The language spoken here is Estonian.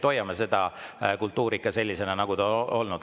Hoiame seda kultuuri ikka sellisena, nagu ta on olnud.